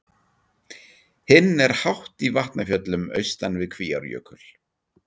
Hinn er hátt í Vatnafjöllum austan við Kvíárjökul.